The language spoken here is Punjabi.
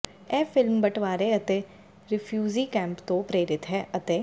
ਇਹ ਫ਼ਿਲਮ ਬਟਵਾਰੇ ਅਤੇ ਰਿਫਿਊਜ਼ੀ ਕੈਂਪਾਂ ਤੋਂ ਪ੍ਰੇਰਿਤ ਹੈ ਅਤੇ